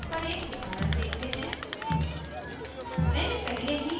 अब static memebers पर एक उदाहरण देखते हैं